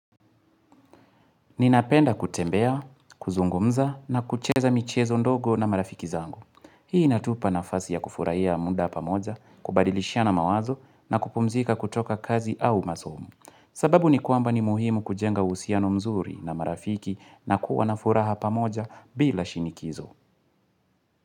Ninapenda kutembea, kuzungumza na kucheza michezo ndogo na marafiki zangu. Hii inatupa nafasi ya kufurahia muda pamoja, kubadilishana mawazo na kupumzika kutoka kazi au masomo. Sababu ni kwamba ni muhimu kujenga uhusiano mzuri na marafiki na kuwa na furaha pamoja bila shinikizo.